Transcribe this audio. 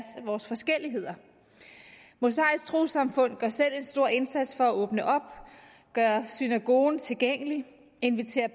vores forskelligheder det mosaiske troessamfund gør selv en stor indsats for at åbne op gøre synagogen tilgængelig invitere